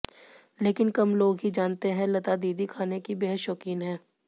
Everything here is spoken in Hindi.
लेकिन कम लोग ही जानते हैं लता दीदी खाने की बेहद शौकीन है